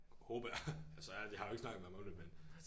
Håber jeg altså ærligt jeg har jo ikke snakket med ham om det men